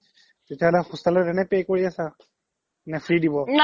তেতিয়া হ্'লে hostel ত এনে pay কৰি আছা নে free দিব